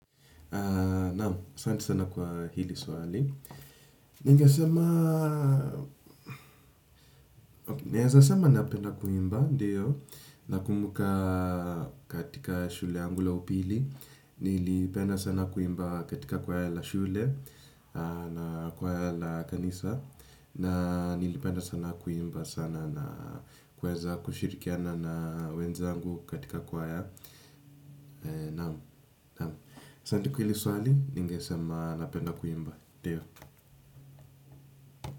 Naam, santi sana kwa hili swali ningesema naezasema napenda kuimba, ndiyo. Nakumbuka katika shule yangu la upili. Nili penda sana kuimba katika kwaya la shule na kwaya la kanisa. Na nilipenda sana kuimba sana na kuweza kushirikiana na wenzangu katika kwaya. Naam, naam. Santi kwa hili swali, ninge sema napenda kuimba ndiyo.